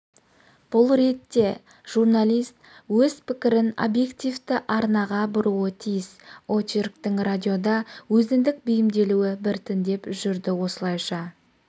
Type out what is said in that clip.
бұл ретте журналист өз пікірін обьективті арнаға бұруы тиіс очерктің радиода өзіндік бейімделуі біртіндеп жүрді осылайша